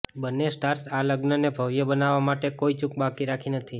બંને સ્ટાર્સે આ લગ્નને ભવ્ય બનાવવા માટે કોઇ ચૂક બાકી રાખી નથી